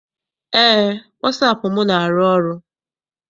Eé, wasaapụ m na- arụ ọrụ.